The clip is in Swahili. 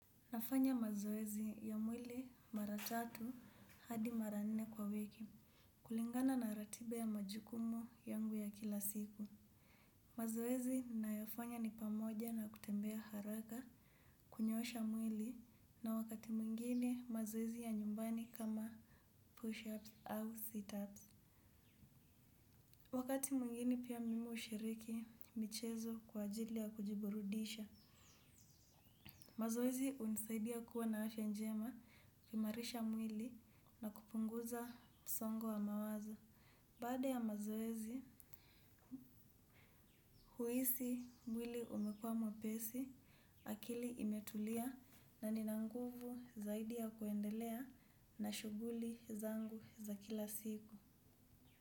Nafanya mazoezi ya mwili mara tatu hadi mara nne kwa wiki kulingana na ratiba ya majukumu yangu ya kila siku. Mazoezi ninayoyafanya ni pamoja na kutembea haraka kunyoosha mwili na wakati mwingine mazoezi ya nyumbani kama push-ups au sit-ups. Wakati mwingine pia mimi hushiriki michezo kwa ajili ya kujiburudisha. Mazoezi hunisaidia kuwa na afya njema kuimarisha mwili na kupunguza msongo wa mawazo. Baada ya mazoezi, huhisi mwili umekuwa mwepesi, akili imetulia na nina nguvu zaidi ya kuendelea na shuguli zangu za kila siku.